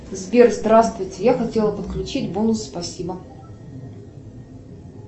сбер здравствуйте я хотела подключить бонус спасибо